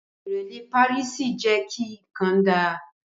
Ìrẹ́lẹ́ párìsì jẹ́ kí nǹkan dá